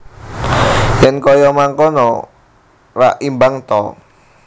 Yen kaya mangkono rak imbang ta